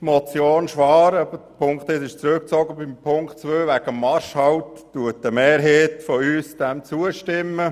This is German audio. Motion Schwaar, deren Ziffer 1 zurückgezogen ist, stimmt eine Mehrheit der SVP-Fraktion der Ziffer 2 betreffend den Marschhalt zu.